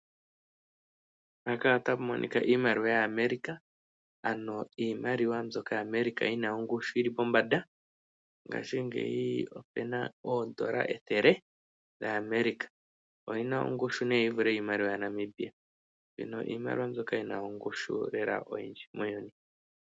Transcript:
Mpaka otapu monika iimaliwa ya America ano iimaliwa mbyoka yaAmerica yina ongushu yili pombanda, ngaashingeyi opena oondola ethele dhaAmerica oyina ongushu nee yivule yiimaliwa yaNamibia, mbyono iimaliwa mbyoka yina ongushu lela oyindji.